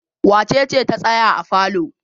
Wace ce ta tsaya a falo?